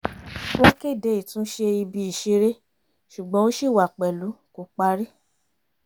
wọ́n kéde ìtúnṣe ibi ìṣeré ṣùgbọ́n ó ṣì wà pẹ̀lú kò parí